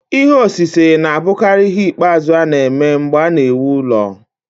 Ihe osise na-abụkarị ihe ikpeazụ a na-eme mgbe a na-ewu ụlọ.